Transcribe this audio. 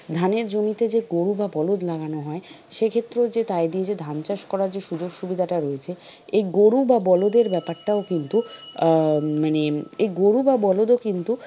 ধানের জমিতে যে গুরু বা বলদ লাগানো হয় সে ক্ষেত্রেও যে তাই দিয়ে যে ধান চাষ করার যে সুযোগ সুবিধাটা রয়েছে এই গরু বা বলদ এর ব্যাপারটা ও কিন্তু আহ মানে এই গরু বা বলদ ও কিন্তু,